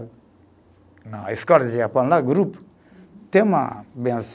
Não, a escola de Japão, tem uma